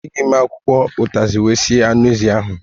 E jighi m akwụkwọ ụtazị wee sie anụ ézì áhụ̀